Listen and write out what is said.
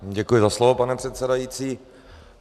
Děkuji za slovo, pane předsedající.